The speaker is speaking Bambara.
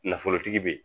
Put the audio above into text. Nafolotigi be yen